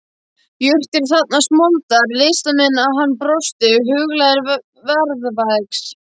Jurtir þarfnast moldar, listamenn hann brosti huglægari jarðvegs.